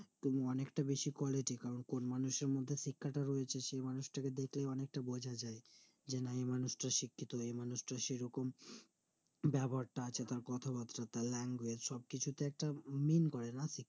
তুমি অনেকটা বেশি হও কোন মানুষের মধ্যে শিক্ষাটা রয়েছে সে মানুষ তাকে দেখলে অনেকটা বোঝা যাই ওই মানুষটা শিক্ষিত এই মানুষটা সেইরকম ব্যবহারটা কথাবার্তা তার language সবকিছুতে একটা mean করে না